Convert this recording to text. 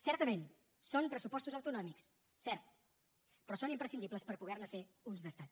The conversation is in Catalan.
certament són pressupostos autonòmics cert però són imprescindibles per poder ne fer uns d’estat